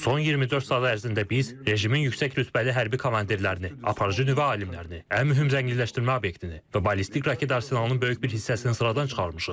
Son 24 saat ərzində biz rejimin yüksək rütbəli hərbi komandirlərini, aparıcı nüvə alimlərini, ən mühüm zənginləşdirmə obyektini və ballistik raket arsenalının böyük bir hissəsini sıradan çıxarmışıq.